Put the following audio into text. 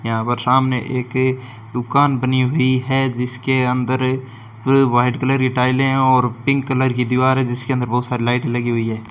यहां पर सामने एक दुकान बनी हुई है जिसके अंदर पूरे व्हाइट कलर की टाइलें और पिंक कलर की दीवार है जिसके अंदर बहुत सारी लाइट लगी हुई है।